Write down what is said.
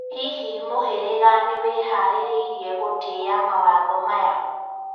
Hihi mũherega nĩweharĩrĩirie gũtĩĩa mawatho maya?